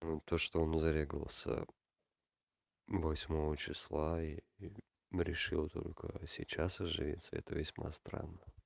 то что он зарегался восьмого числа и решил только сейчас оживиться это весьма странно